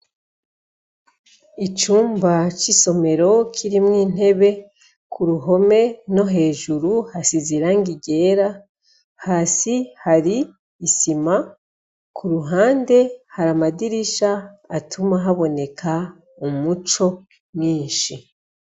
Icumba c' isomero kirimwo intebe ku ruhome no hejuru hasize irangi ryera, hasi hari isima kuruhande hari amadirisha atuma haboneka umuco mwinshi.